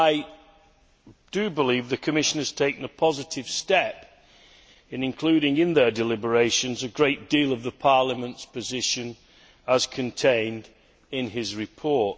I believe the Commission has taken a positive step in including in their deliberations a great deal of Parliament's position as contained in his report.